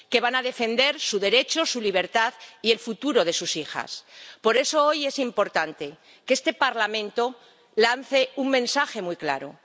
Que van a defender su derecho, su libertad y el futuro de sus hijas. Por eso, hoy es importante que este Parlamento lance un mensaje muy claro.